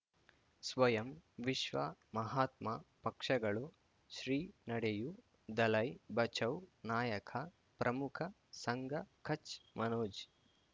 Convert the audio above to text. ಸ್ವಯಂ ವಿಶ್ವ ಮಹಾತ್ಮ ಪಕ್ಷಗಳು ಶ್ರೀ ನಡೆಯೂ ದಲೈ ಬಚೌ ನಾಯಕ ಪ್ರಮುಖ ಸಂಘ ಕಚ್ ಮನೋಜ್